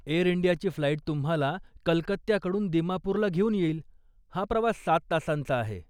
Air इंडियाची flight तुम्हाला कलकत्याकडून दिमापुरला घेऊन येईल, हा प्रवास सात तासांचा आहे.